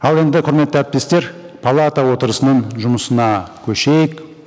ал енді құрметті әріптестер палата отырысының жұмысына көшейік